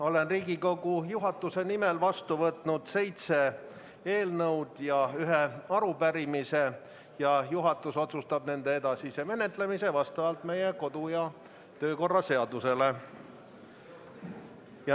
Olen Riigikogu juhatuse nimel vastu võtnud seitse eelnõu ja ühe arupärimise ning juhatus otsustab nende edasise menetlemise vastavalt meie kodu- ja töökorra seadusele.